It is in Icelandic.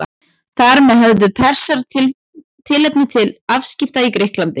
Þar með höfðu Persar tilefni til afskipta í Grikklandi.